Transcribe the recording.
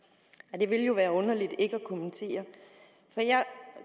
det vil jo være underligt ikke at kommentere